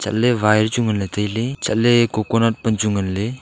wire chu nganley tailey chatley coconut pan chu ngan ley.